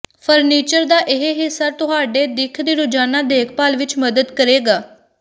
furniture ਦਾ ਇਹ ਹਿੱਸਾ ਤੁਹਾਡੇ ਦਿੱਖ ਦੀ ਰੋਜ਼ਾਨਾ ਦੇਖਭਾਲ ਵਿੱਚ ਮਦਦ ਕਰੇਗਾ